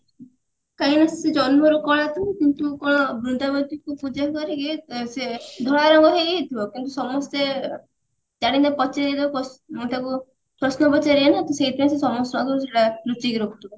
କାହିଁକି ନା ସେ ଜନ୍ମରୁ କଳା ତ କିନ୍ତୁ କଣ ବୃନ୍ଦାବତୀଙ୍କୁ ପୂଜା କରି ଇଏ ସେ ଧଳା ରଙ୍ଗ ହେଇଯାଇଥିବ କିନ୍ତୁ ସମସ୍ତେ ପ୍ରଶ୍ନ ପଚାରିବେ ନା ତ ସେଇଥିପାଇଁ ସିଏ ସମସ୍ତଙ୍କ ଆଗରୁ ସେଟା ଲୁଚେଇକି ରଖୁଥିବ